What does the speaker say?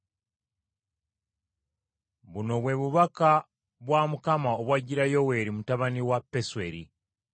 Buno bwe bubaka bwa Mukama obwajjira Yoweeri mutabani wa Pesweri.